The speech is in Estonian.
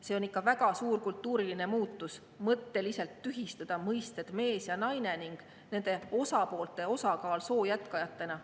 See on ikka väga suur kultuuriline muutus, kui mõtteliselt tühistada mõisted "mees" ja "naine" ning nende osakaal soo jätkajatena.